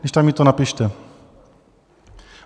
Když tak mi to napište.